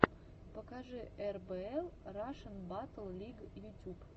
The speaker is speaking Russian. покажи эрбээл рашн баттл лиг ютюб